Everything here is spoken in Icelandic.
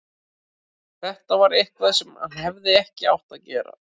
Þetta var eitthvað sem hann hefði ekki átt að gera.